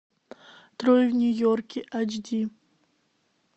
трое в нью йорке айч ди